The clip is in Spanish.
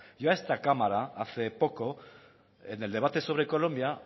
yo a esta cámara hace poco en el debate sobre colombia